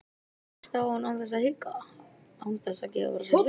Hún réðst á hann án þess að hika, án þess að gefa frá sér hljóð.